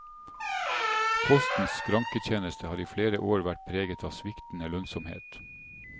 Postens skranketjeneste har i flere år vært preget av sviktende lønnsomhet.